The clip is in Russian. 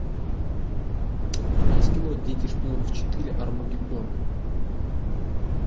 у тебя есть кино дети шпионов четыре армагеддон